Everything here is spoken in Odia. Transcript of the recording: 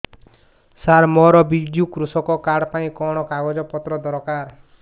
ସାର ମୋର ବିଜୁ କୃଷକ କାର୍ଡ ପାଇଁ କଣ କାଗଜ ପତ୍ର ଦରକାର